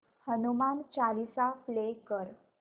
Hanuman Chalisa play कर